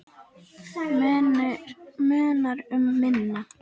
Munar um minna.